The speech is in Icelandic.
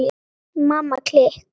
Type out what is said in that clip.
Mamma klikk!